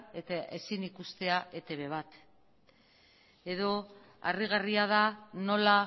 eta ezin ikustea etb bat edo harrigarria da nola